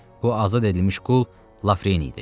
Bu azad edilmiş qul Lafreni idi.